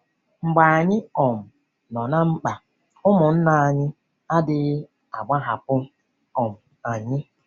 Mgbe anyị um nọ ná mkpa, ụmụnna anyị adịghị agbahapụ um anyị.